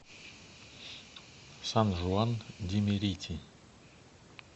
сан жуан ди мерити